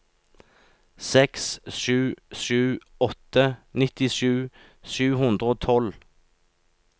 seks sju sju åtte nittisju sju hundre og tolv